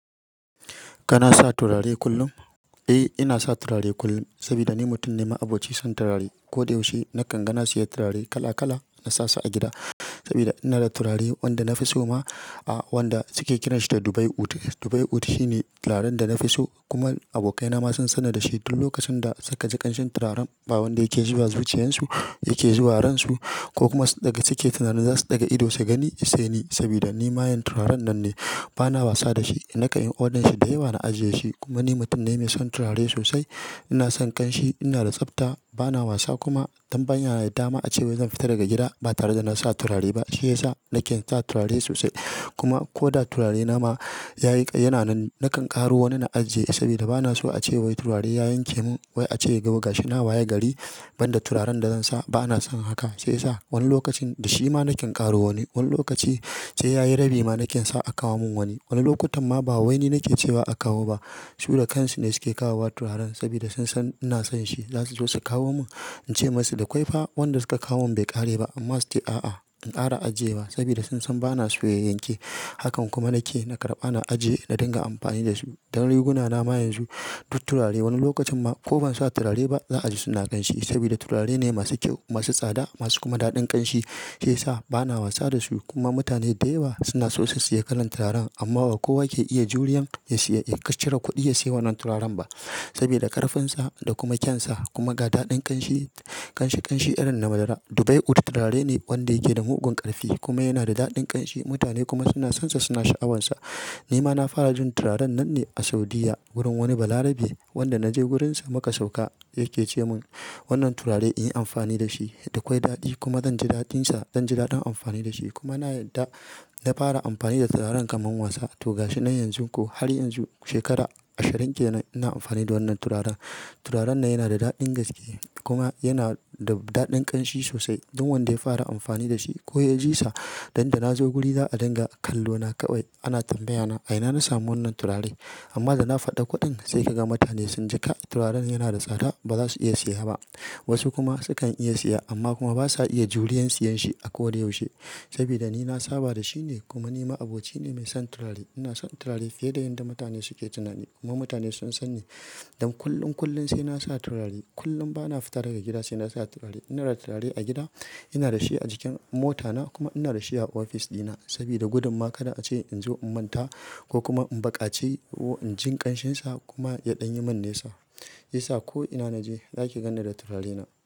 Kana sa turare kullum? Eh, ina sa turare kullum saboda ni mutum ne ma'aboci son turare. Ko da yaushe nakan ga na siya turare kala kala na sasu a gida sabida ina da turare wanda na fi so ma, wanda suke kiranshi da Dubai Ud. Dubai Ud shine turaren da na fi so kuma abokaina ma sun sanni da shi duk lokacin da suka ji ƙanshin turaren. Ba wanda yake zuwa zuciyansu yake zuwa ran su ko kuma daga suke tunanin za su ɗaga ido su gani sai ni saboda ni mayen turaren nan ne. Bana wasa da shi, inkan yi odanshi da yawa na aje shi. Kuma ni mutum ne mai son turare sosai. Ina son ƙanshi, ina da tsafta, bana wasa kuma don ban ya na da dama ace wai zan fita daga gida ba tare da na sa turare ba. Sai sa nake sa turare sosai kuma ko da turarena ma yayi ƙa yana nan nakan ƙaro wani na ajiye saboda bana so ace wai turare ya yanke man wai ace gaba gashi na waya gari. Ban da turaren da zan sa, bana son haka. Sai sa wani lokacin da shi ma naken ƙaro wani, wani lokaci sai yayi rabi ma nake sa a kawo mun wani. Wani lokutan ma ba wani nake ce ba a kawo ba. Su da kan su ne suke kawowa turaren saboda sun san shi zasu zo su kawo min. Ince musu da kwai fa wanda suka kawo mun bai ƙare ba, amma suke a'a in ƙara ajiye ba saboda sun san bana so ya yanke. Hakan kuma nake na karɓa na ajiye na ɗinga amfani dasu dan riguna na ma yanzu duk turarene. Wani lokacin ma ko ban sa turare ba za a ji suna ƙanshi saboda turare ne masu kyau, masu tsada masu kuma daɗin ƙanshi. Sai sa bana wasa da su kuma mutane da yawa suna so su siya kalan turaren amma ba kowa ke iya juriyan ya siya ya cire kuɗi ya siya wannan turaren ba saboda ƙarfinsa da kuma kyan sa kuma ga daɗin ƙanshi, ƙanshi ƙanshi irin na madara. Dubai Ud turare ne wanda yake da mugun ƙarfi kuma yana da daɗin ƙanshi. Mutane kuma suna sanshi suna sha'awarsa nima nafara jin turarenanne a Saudiyya wurin wani balarabe wanda mukaje wurinsa muka sauka yake ce man wannan turare inyi amfani dashi. Zan ji daɗin amfani da shi kuma na yadda na fara amfani da turaren kaman wasa to gashi na yanzu ko har yanzu shekara ashirin kenan ina amfani da wannan turaren. Turaren nan yana da daɗin gaske kuma yana da daɗin ƙanshi sosai. Duk wanda ya fara amfani da shi ko ya ji sa. Yan da na zo guri za a dinga kallo na kawai ana tambaya na a ina na samu wannan turare? Amma da na faɗa kuɗin sai ka ga mutane sun ji ƙa'ar turaren yana da tsada, baza su iya siya ba. Wasu kuma sukan iya siya amma kuma basa iya juriyan siyan shi a koda yaushe saboda ni na saba da shi ne. Kuma ni ma'aboci ne mai son turare. Ina son turare fiye da yanda mutane suke tunanin kuma mutane sun san ni. Don kullum kullum sai na sa turare. Kullum bana fita daga gida sai na sa turare. Ina da turare a gida, ina da shi a jikin mota na kuma ina da shi a ofis ɗina saboda gudumma kada ace in zo in manta ko kuma in ba ƙace in jin ƙanshin sa kuma ya ɗanye mun nesw sai sa ko ina na je zaki ganni da turarena.